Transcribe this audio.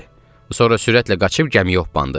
Sonra sürətlə qaçıb gəmiyə hoppandı.